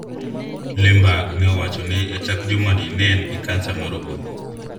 Limbaugh ne owacho e chak juma ni ne en gi kansa mar obo.